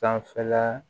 Sanfɛla